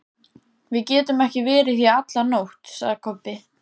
Við getum ekki verið hér í alla nótt, sagði Kobbi.